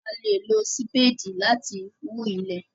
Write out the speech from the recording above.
A le lo sipedi lati fi hu ilẹ